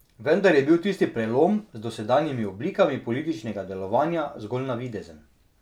Vendar je bil tisti prelom z dosedanjimi oblikami političnega delovanja zgolj navidezen.